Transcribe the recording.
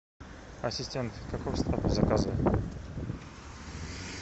ассистент каков статус заказа